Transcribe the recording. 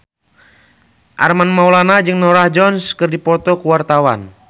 Armand Maulana jeung Norah Jones keur dipoto ku wartawan